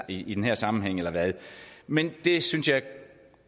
i den her sammenhæng men det synes jeg